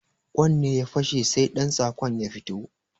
Kwan ne ya fashe sai ɗantsakon ya fito